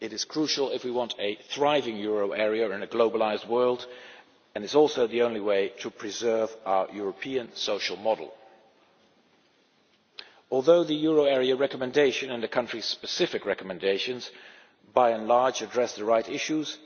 It is crucial if we want a thriving euro area in a globalised world, and it is also the only way to preserve our European social model. Although the euro area recommendation and the country specific recommendations by and large address the right issues,